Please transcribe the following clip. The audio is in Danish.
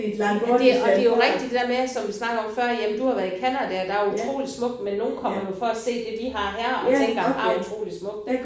Ja det og det jo rigtigt det der med som vi snakkede om før jamen du har været i Canada og der er utrolig smukt men nogen kommer jo for at se det vi har her og tænker her er utrolig smukt ikk